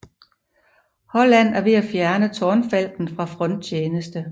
Holland er ved at fjerne Tårnfalken fra fronttjeneste